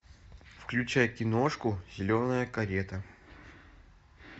включай киношку зеленая карета